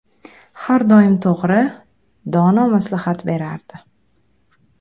Har doim to‘g‘ri, dono maslahat berardi.